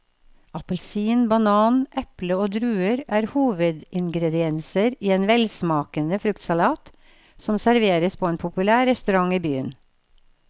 Appelsin, banan, eple og druer er hovedingredienser i en velsmakende fruktsalat som serveres på en populær restaurant i byen.